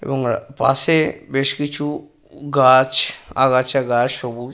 এবং পাশে বেশ কিছু গাছ আগাছা গাছ সবুজ।